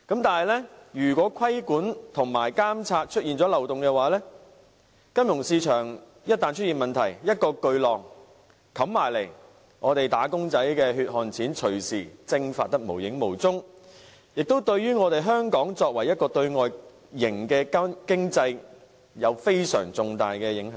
可是，如果規管和監察出現漏洞，以致金融市場出現問題，一個巨浪打過來，"打工仔"的血汗錢隨時會蒸發得無影無蹤，亦對香港這個外向型經濟有相當重大的影響。